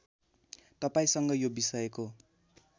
तपाईँसँग यो विषयको